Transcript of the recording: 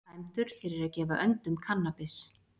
Dæmdur fyrir að gefa öndum kannabis